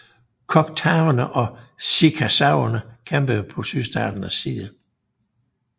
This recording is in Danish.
Choctawerne og chickasawerne kæmpede på sydstaternes side